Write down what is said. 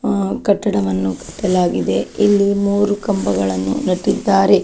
ಹ್ಮ್ ಕಟ್ಟಡವನ್ನು ಕಟ್ಟಲಾಗಿದೆ ಇಲ್ಲಿ ಮೂರು ಕಂಬಗಳನ್ನು ನೆಟ್ಟಿದ್ದಾರೆ.